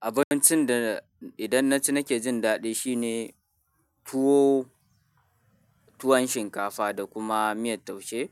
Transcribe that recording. Abincin da idan na ci nake jin daɗi shine tuwo, tuwon shinkafa da kuma miyar taushe.